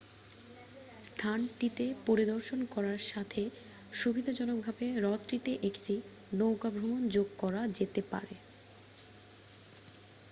স্থানটিতে পরিদর্শন করার সাথে সুবিধাজনকভাবে হ্রদটিতে একটি নৌকা ভ্রমণ যোগ করা যেতে পারে